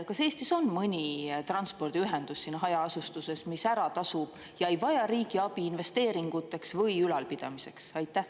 Kas Eestis on mõni transpordiühendus hajaasustuses, mis ära tasub ja ei vaja riigi abi investeeringuteks või ülalpidamiseks?